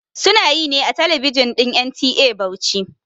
Sunayi ne a talabijin din NTA Bauchi